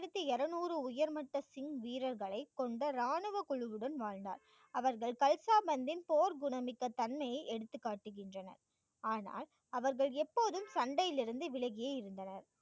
டாயிரத்தி இருநூறு உயர்மட்ட சிங்க் வீரர்களைக் கொண்ட ராணுவக் குழுவுடன் வாழ்ந்தார். அவர்கள் கல்ஷா பந்தின் போர் குணமிக்க தன்மையை எடுத்துக் காட்டுகின்றன. ஆனால், அவர்கள் எப்போதும் சண்டையில் இருந்து விலகியே இருந்தனர்.